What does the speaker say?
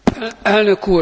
Elnök úr!